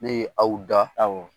Ne ye aw dan, awɔ.